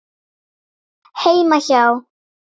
Heima hjá